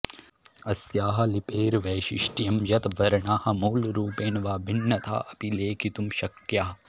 अस्याः लिपेर्वैशिष्ट्यम् यत् वर्णाः मूलरूपेण वा भिन्नथाऽपि लेखितुं शक्याः